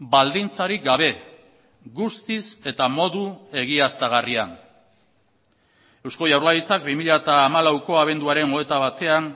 baldintzarik gabe guztiz eta modu egiaztagarrian eusko jaurlaritzak bi mila hamalauko abenduaren hogeita batean